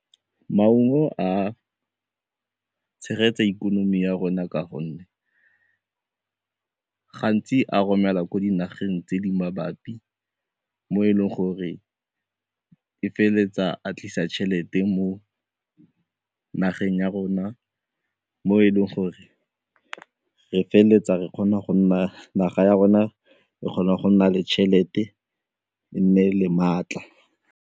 Maungo a tshegetsa ikonomi ya rona ka gonne gantsi a romela ko dinageng tse di mabapi mo e leng gore e feleletsa a tlisa tšhelete mo nageng ya rona mo e leng gore re feleletsa re kgona go nna naga ya rona re kgona go nna le tšhelete e nne le maatla.